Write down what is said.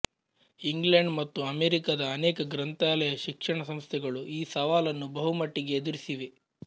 England ಮತ್ತು ಅಮೆರಿಕದ ಅನೇಕ ಗ್ರಂಥಾಲಯ ಶಿಕ್ಷಣ ಸಂಸ್ಥೆಗಳು ಈ ಸವಾಲನ್ನು ಬಹುಮಟ್ಟಿಗೆ ಎದುರಿಸಿವೆ